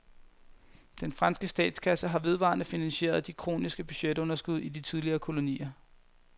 Den franske statskasse har vedvarende finansieret de kroniske budgetunderskud i de tidligere kolonier.